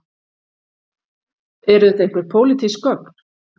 Eru þetta einhver pólitísk gögn